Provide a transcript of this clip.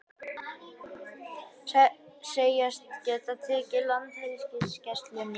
Segjast geta tekið við Landhelgisgæslunni